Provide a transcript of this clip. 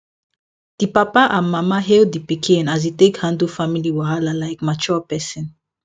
di papa and mama hail di pikin as e take handle family wahala like mature person